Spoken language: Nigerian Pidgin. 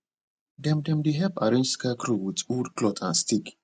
dem dem dey help arrange scarecrow with old cloth and stick